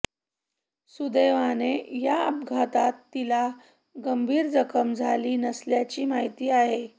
सुदैवाने या अपघातात तीला गंभीर जखम झाली नसल्याची माहिती आहे